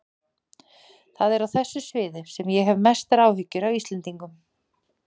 Það er á þessu sviði sem ég hef mestar áhyggjur af Íslendingum.